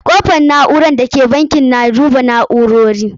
Kofar na'ura da ke bankin na duba na'urori.